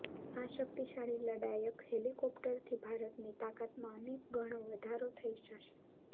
આ શક્તિશાળી લડાયક હેલિકોપ્ટરથી ભારતની તાકાતમાં અનેક ઘણો વધારો થઈ જશે